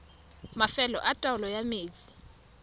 mafelo a taolo ya metsi